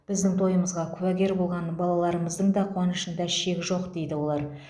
біздің тойымызға куәгер болған балаларымыздың да қуанышында шек жоқ дейді олар